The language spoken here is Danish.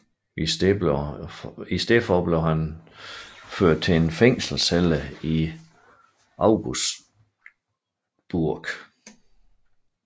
I stedet blev han ført til en fængselscelle i Augsburg